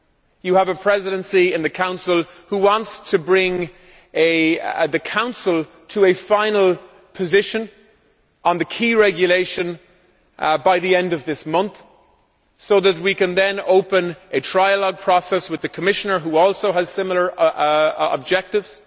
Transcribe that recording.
You have a Presidency of the Council which wants to bring the Council to a final position on the key regulation by the end of this month so that we can then open a trialogue process with the Commissioner, who also has similar objectives,